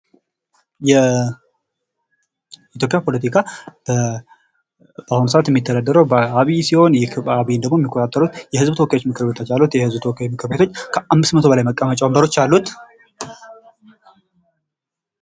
ፖለቲካ በሀገር ወይም በክልል ውስጥ ሥልጣንን የማግኘት፣ የመጠቀምና የማስጠበቅ እንዲሁም የህዝብን ጉዳዮች የማስተዳደር ሂደት ነው።